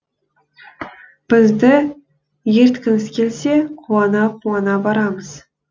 бізді ерткіңіз келсе қуана қуана барамыз